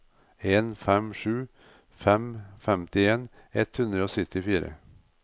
en fem sju fem femtien ett hundre og syttifire